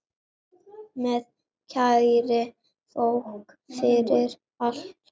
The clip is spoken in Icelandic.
Með kærri þökk fyrir allt.